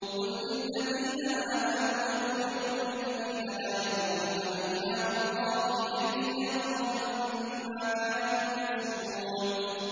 قُل لِّلَّذِينَ آمَنُوا يَغْفِرُوا لِلَّذِينَ لَا يَرْجُونَ أَيَّامَ اللَّهِ لِيَجْزِيَ قَوْمًا بِمَا كَانُوا يَكْسِبُونَ